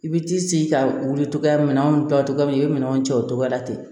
I bi t'i sigi ka wuli togoya minɛnw ta togo min i bɛ minɛnw cɛ o togoya la ten